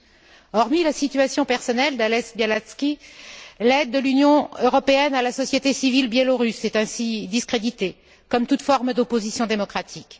Au delà de la situation personnelle d'Ales Bialatski, l'aide de l'Union européenne à la société civile biélorusse est ainsi discréditée, comme toute forme d'opposition démocratique.